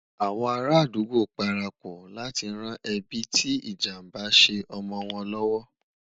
àwọn ará adugbo parapò láti ràn ẹbi tí ìjàmbá ṣé omọ wọn l'ọwọ